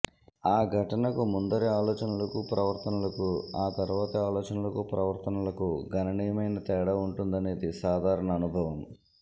ఆ ఘటనకు ముందరి ఆలోచనలకూ ప్రవర్తనలకూ ఆ తర్వాతి ఆలోచనలకూ ప్రవర్తనలకూ గణనీయమైన తేడా ఉంటుందనేది సాధారణ అనుభవం